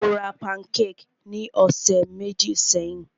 Mó rá pankékì ní ọ̀sẹ̀ méjì sẹ́yìn.